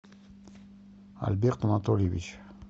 альберт анатольевич